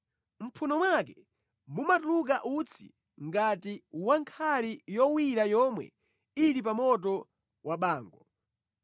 Mʼmphuno mwake mumatuluka utsi ngati wa mʼnkhali yowira yomwe ili pa moto wa bango.